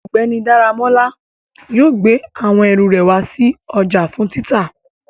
Ọgbẹni Daramola yóò gbe awọn eru re wa si ọja fun tita